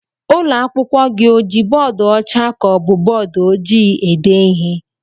Ụlọ akwụkwọ gị o ji bọọdu ọcha ka ọ bụ bọọdu ojii ede ihe?